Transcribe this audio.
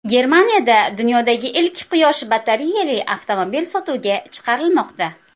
Germaniyada dunyodagi ilk quyosh batareyali avtomobil sotuvga chiqarilmoqda .